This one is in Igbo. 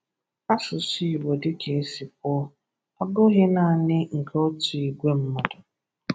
Asụsụ Igbo, dịka e si kwuo, abụghị naanị nke otu ìgwè mmadụ.